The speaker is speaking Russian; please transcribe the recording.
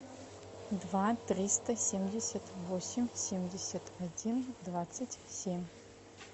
два триста семьдесят восемь семьдесят один двадцать семь